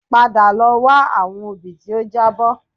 Padà lọ wá àwọn obì tí ó jábọ́